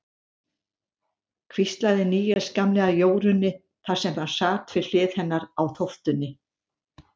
hvíslaði Níels gamli að Jórunni, þar sem hann sat við hlið hennar á þóftunni.